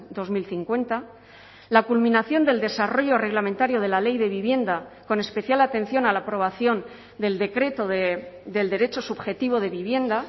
dos mil cincuenta la culminación del desarrollo reglamentario de la ley de vivienda con especial atención a la aprobación del decreto del derecho subjetivo de vivienda